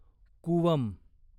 Cooum